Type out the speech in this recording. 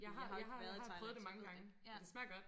Jeg har jeg har jeg har prøvet det mange gange og det smager godt